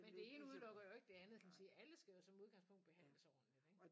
Men det ene udelukker jo ikke det andet kan man sige alle skal jo som udgangspunkt behandles ordentlig ikke